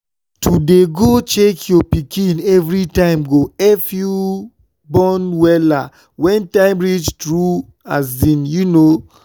to dey go check your pikin evri time go epp u born wella wen time reach tru um u no?